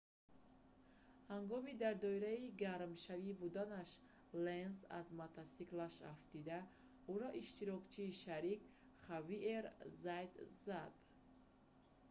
ҳангоми дар доираи гармшавӣ буданаш ленс аз мотосиклаш афтида ӯро иштирокчии шарик хавиер заят зад